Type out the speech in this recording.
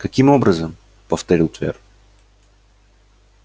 каким образом повторил твер